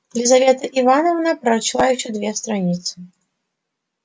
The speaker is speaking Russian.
лизавета ивановна прочла ещё две страницы